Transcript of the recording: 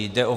Jde o